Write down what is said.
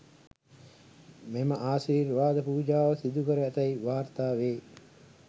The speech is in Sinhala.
මෙම ආශිර්වාද පුජාව සිදුකර ඇතැයි වාර්තා වේ